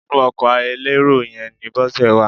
Inú ọkọ elérò yẹn ni Bọ́sẹ̀ wà.